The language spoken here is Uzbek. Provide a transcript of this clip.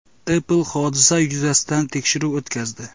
Apple hodisa yuzasidan tekshiruv o‘tkazdi.